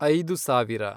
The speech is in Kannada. ಐದು ಸಾವಿರ